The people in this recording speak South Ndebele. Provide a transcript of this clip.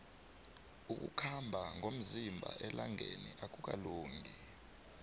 ukukhamba ngomzimba elangeni akukalungi